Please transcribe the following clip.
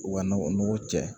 U ka nɔgɔ nogo cɛ